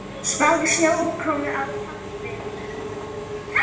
Spáð snjókomu á fjallvegum